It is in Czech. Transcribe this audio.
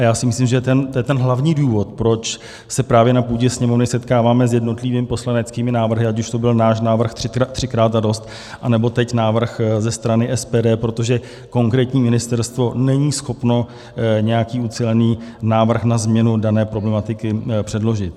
A já si myslím, že to je ten hlavní důvod, proč se právě na půdě Sněmovny setkáváme s jednotlivými poslaneckými návrhy, ať už to byl náš návrh třikrát a dost, anebo teď návrh ze strany SPD, protože konkrétní ministerstvo není schopno nějaký ucelený návrh na změnu dané problematiky předložit.